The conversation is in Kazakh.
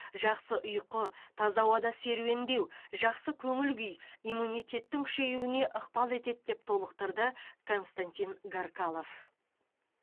жақсы ұйқы таза ауада серуендеу жақсы көңіл күй иммунитеттің күшеюіне ықпал етеді деп толықтырды константин гаркалов